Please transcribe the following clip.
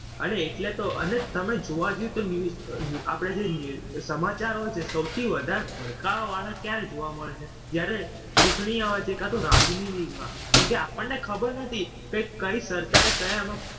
અરે એટલે જ તો અને તમે જોવા જાઓ તો news આપણે જે news સમાચારો સૌથી વધારે ભડકાવા વાળા ક્યારે જોવા મળે છે, જ્યારે ચૂંટણી આવે છે કાં તો રાજનીતિ માં. કેમ કે આપણને ખબર નથી કે કઈ સરકારે કયામાં